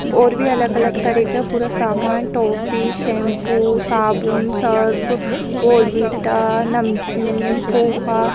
ओर भी अलग-अलग तरह का पूरा सामान टॉफ़ी शैम्पू साबुन सर्फ़ बोनविटा नमकीन पोहा --